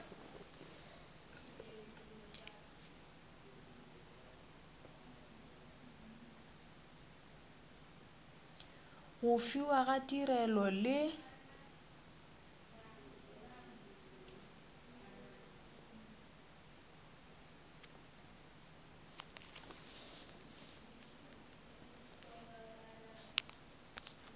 go fiwa ga tirelo le